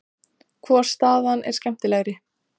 Hvor staðan er skemmtilegri?